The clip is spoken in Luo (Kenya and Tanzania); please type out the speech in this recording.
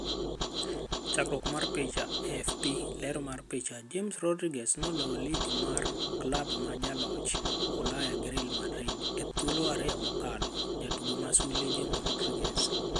Chakruok mar picha, AFP. Ler mar picha, James Rodriguez noloyo Lig mar Klab ma Jaloch Ulaya gi Real Madrid e thuolo ariyo mokalo. Jatugo ma sulwe: James Rodriguez.